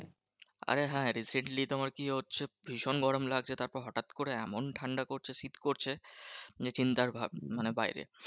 আরে হ্যাঁ recently তোমার কি হচ্ছে? ভীষণ গরম লাগছে। তারপর হটাৎ করে এমন ঠান্ডা করছে শীত করছে যে, চিন্তার মানে বাইরে।